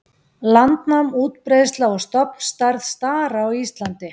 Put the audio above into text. Landnám, útbreiðsla og stofnstærð stara á Íslandi